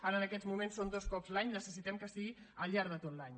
ara en aquests moments són dos cops l’any necessitem que sigui al llarg de tot l’any